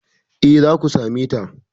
Eh, zaku same ta